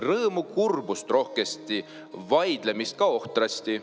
Rõõmu, kurbust rohkesti, vaidlemist ka ohtrasti.